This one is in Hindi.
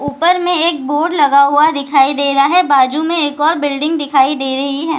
ऊपर में एक बोर्ड लगा हुआ दिखाई दे रहा है बाजू में एक और बिल्डिंग दिखाई दे रही है ।